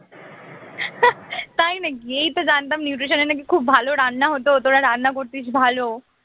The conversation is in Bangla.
তাই নাকি এইতো জানতাম nutrition এ নাকি খুব ভালো রান্না হত তোরা রান্না করতিস ভালো